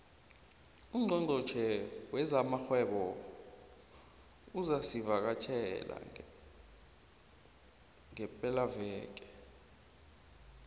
ungqongqotjhe wezamarhwebo namabubulo uzosivakatjhela ngepelaveke